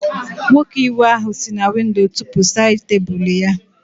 Nwoke iwe ahụ si na windo tụpu sáyid tebụlu ya